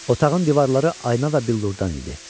Otağın divarları ayna və billurdan idi.